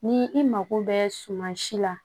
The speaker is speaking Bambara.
Ni i mako bɛ suma si la